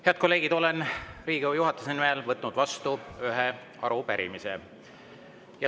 Head kolleegid, olen Riigikogu juhatuse nimel võtnud vastu ühe arupärimise.